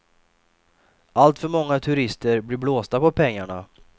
Alltför många turister blir blåsta på pengarna.